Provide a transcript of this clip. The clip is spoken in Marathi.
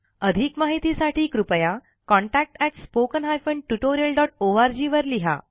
अधिक माहितीसाठी कृपया contactspoken tutorialorg वर लिहा